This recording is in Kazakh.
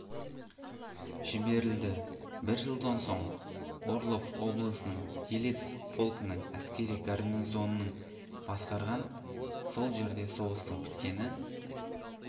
жіберілді бір жылдан соң орлов облысының елец полкінің әскери гарнизоның басқарған сол жерде соғыстың біткені